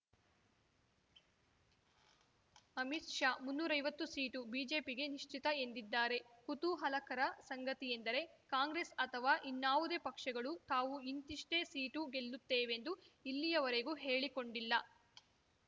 ಅಮಿತ್‌ ಶಾ ಮುನ್ನೂರೈವತ್ತು ಸೀಟು ಬಿಜೆಪಿಗೆ ನಿಶ್ಚಿತ ಎಂದಿದ್ದಾರೆ ಕುತೂಹಲಕರ ಸಂಗತಿಯೆಂದರೆ ಕಾಂಗ್ರೆಸ್‌ ಅಥವಾ ಇನ್ನಾವುದೇ ಪಕ್ಷಗಳು ತಾವು ಇಂತಿಷ್ಟೇ ಸೀಟು ಗೆಲ್ಲುತ್ತೇವೆಂದು ಇಲ್ಲಿಯವರೆಗೂ ಹೇಳಿಕೊಂಡಿಲ್ಲ